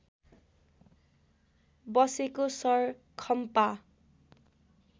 बसेको शर खम्पा